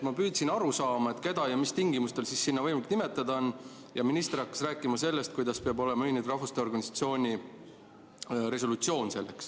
Ma püüdsin aru saada, keda ja mis tingimustel seal võimalik nimetada on, aga minister hakkas rääkima sellest, kuidas selleks peab olema Ühinenud Rahvaste Organisatsiooni resolutsioon.